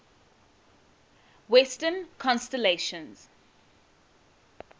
western constellations